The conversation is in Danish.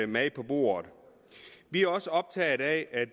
mad på bordet vi er også optaget af at